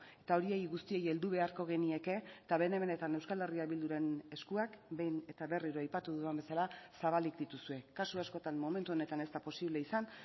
eta horiei guztiei heldu beharko genieke eta bene benetan euskal herria bilduren eskuak behin eta berriro aipatu dudan bezala zabalik dituzue kasu askotan momentu honetan ez da posible izan